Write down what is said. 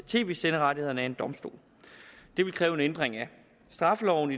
tv senderettighederne det kræver en ændring af straffeloven